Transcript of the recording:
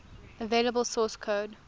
available source code